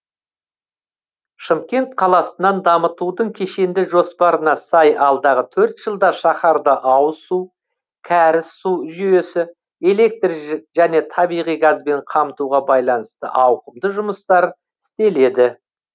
шымкент қаласынан дамытудың кешенді жоспарына сай алдағы төрт жылда шаһарды ауыз су кәріз су жүйесі электр және табиғи газбен қамтуға байланысты ауқымды жұмыстар істеледі